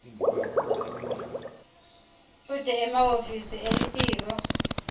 kute emahhovisi elitiko